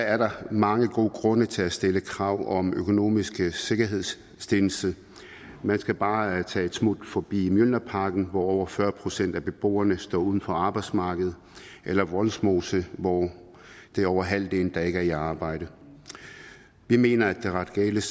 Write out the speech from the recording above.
er der mange gode grunde til at stille krav om økonomisk sikkerhedsstillelse man skal bare tage et smut forbi mjølnerparken hvor over fyrre procent af beboerne står uden for arbejdsmarkedet eller vollsmose hvor det er over halvdelen der ikke er i arbejde vi mener at de radikales